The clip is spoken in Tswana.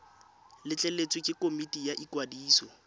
letleletswe ke komiti ya ikwadiso